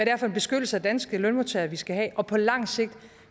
er for en beskyttelse af danske lønmodtagere vi skal have og på lang sigt